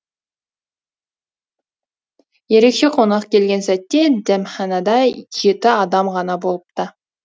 ерекше қонақ келген сәтте дәмханада жеті адам ғана болыпты